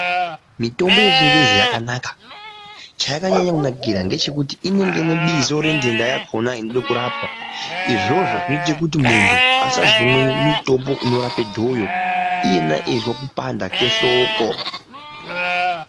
Mitombo ye chingezi yaka naka chayaka nyanya kunakira ngechekuti inenge ine bizo re dhenda yakona inoda kurapwa izvozvo zvinozo ita muntu asozomwe mitombo uno rape dhoyo iye eizwa kupanda kwe ndxoko.